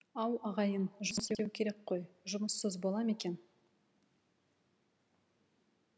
ау ағайын жұмыс істеу керек қой жұмыссыз бола ма екен